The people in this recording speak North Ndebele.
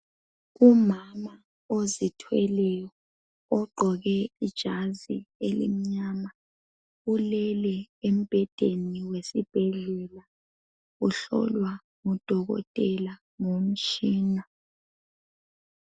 Umama ozithweleyo, ogqoke ijazi elimnyama. Ulele embhedeni wesibhedlela. Uhlolwa ngudokotela ngomtshina.